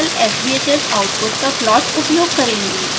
हम केवल sbhs output का प्लाट उपयोग करेंगे